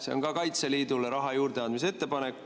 See on ka Kaitseliidule raha juurdeandmise ettepanek.